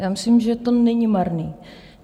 Já myslím, že to není marné.